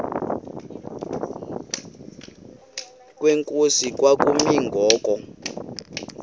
kwenkosi kwakumi ngoku